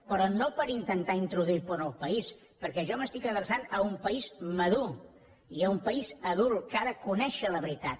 però no per intentar introduir por al país perquè jo m’estic adreçant a un país madur i a un país adult que ha de conèixer la veritat